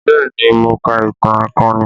Bẹẹ ni, mo ka ìtàn akọni